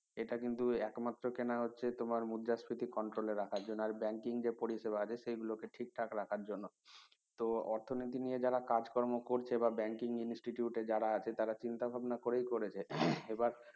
এটা কিন্তু একমাত্র কেনা হচ্ছে তোমার মুদ্রাস্ফীতি control এ রাখার জন্য আর banking যে পরিষেবা আছে সেগুলো কে ঠিক থাকে রাখার জন্য তো অর্থনীতি নিয়ে যারা কাজকর্ম করছে বা banking institute এ যারা আছে তারা চিন্তা ভাবনা করেই করেছে এবার